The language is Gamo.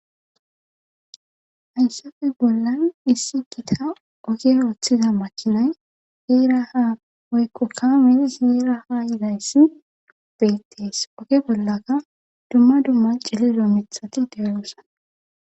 Ayssafe bollan issi gita oge ooththiza makinay heera ha oykko kame zeera ha yizayssi beittees oge bollaka dumma dumma cilido mithati dewoosa